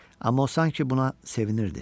Amma o sanki buna sevinirdi.